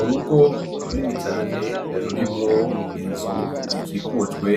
Urugo runini cane, rurimwo inzu ikikujwe